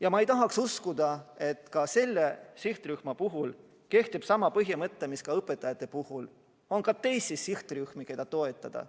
Ja ma ei usu, et selle sihtrühma puhul võib öelda nagu ka õpetajate puhul: on ka teisi sihtrühmi, keda on vaja toetada.